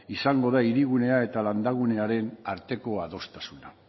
izango da hirigunea eta landa gunearen arteko adostasuna